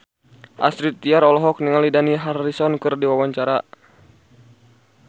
Astrid Tiar olohok ningali Dani Harrison keur diwawancara